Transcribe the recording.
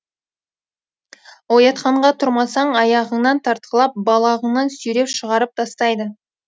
оятқанға тұрмасаң аяғыңнан тартқылап балағыңнан сүйреп шығарып тастайды